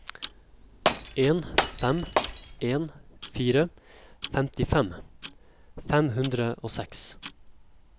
en fem en fire femtifem fem hundre og seks